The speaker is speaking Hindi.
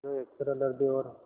जो एक सरल हृदय और